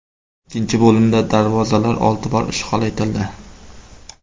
Ikkinchi bo‘limda darvozalar olti bor ishg‘ol etildi.